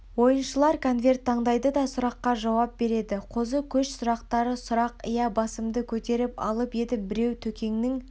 ойыншылар конверт таңдайды да сұраққа жауап береді қозы көш сұрақтары сұрақ иә басымды көтеріп алып едім біреу төкеңнің